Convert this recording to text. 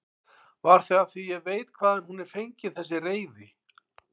Var það af því ég veit hvaðan hún er fengin þessi reiði?